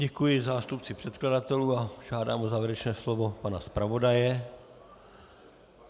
Děkuji zástupci předkladatelů a žádám o závěrečné slovo pana zpravodaje.